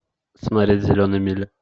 смотреть зеленая миля